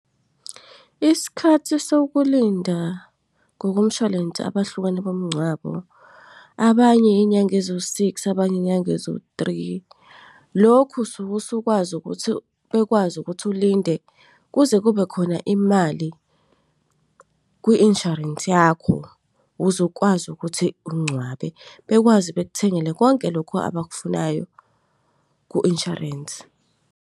Isikhathi sokulinda ngokomshwalense abahlukene bomngcwabo, abanye iy'nyanga eziwu-six, abanye iy'nyanga eziwu-three. Lokhu usuke usukwazi ukuthi bekwazi ukuthi ulinde kuze kube khona imali kwi-insurance yakho, ukuze ukwazi ukuthi ungcwabe, bekwazi bekuthengele konke lokhu abakufunayo kwi-insurance.